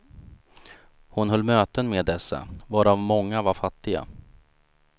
Hon höll möten med dessa, varav många var fattiga.